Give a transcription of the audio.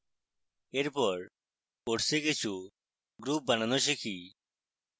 এরপর course কিছু groups বানানো শিখি